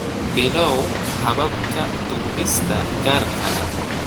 Bilow hababka duubista gaarka ah.